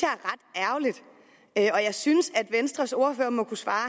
jeg er jeg synes at venstres ordfører må kunne svare